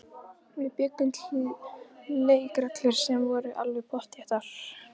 Við bjuggum til leikreglur sem voru alveg pottþéttar.